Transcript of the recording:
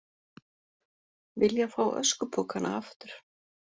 Vilja fá öskupokana aftur